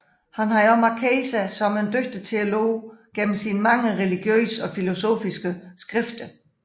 Han havde også markeret sig som en dygtig teolog gennem sine mange religiøse og filosofiske skrifter